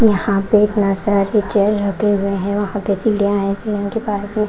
यहाँ पे इतना सारे चेयर रखे हुए हैं वहाँ पे सीढ़ियाँ हैं के पास में।